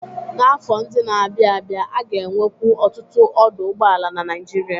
N'afọ ndị na-abịa abịa, a ga-enwekwu ọtụtụ ọdụ ụgbọala na Nigeria.